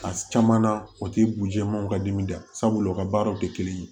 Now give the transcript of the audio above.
A caman na o ti b'u jɛman ka dimi da sabula u ka baaraw te kelen ye